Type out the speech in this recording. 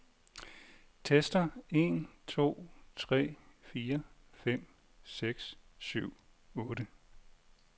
Tester en to tre fire fem seks syv otte.